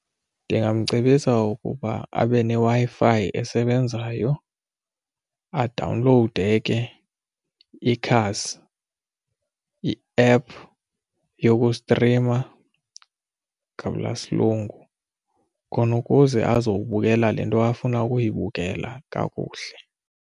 Ndingamcebisa ukuba abe neWi-Fi esebenzayo adawunlowude ke ikhasi i-app yokustrima gabula silungu khona ukuze abazobukela le nto afuna ukuyibukela kakuhle.